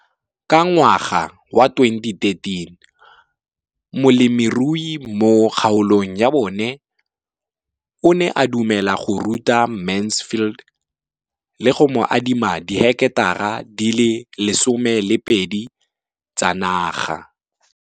Ka ngwaga wa 2013, molemirui mo kgaolong ya bona o ne a dumela go ruta Mansfield le go mo adima di heketara di le 12 tsa naga.